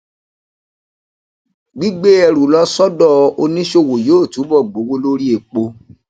gbigbé ẹrù lọ sódò oníṣòwò yóò túbò gbowó lórí epo